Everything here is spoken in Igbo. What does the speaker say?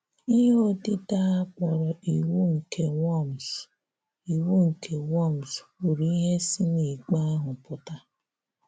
Íhè òdídè a kpọrọ Ìwù nke Worms Ìwù nke Worms kwùrù íhè sì n’íkpé ahụ pụ́tà.